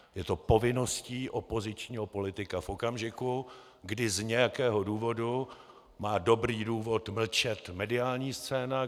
Je to povinností opozičního politika v okamžiku, kdy z nějakého důvodu má dobrý důvod mlčet mediální scéna.